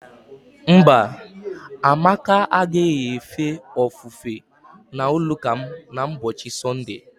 Mba, Amaka agaghị efe ofufe n'ụlọụka m n'ụbọchị Sọnde.